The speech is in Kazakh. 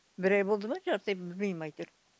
бір ай болды ма жарты ай білмеймін әйтеуір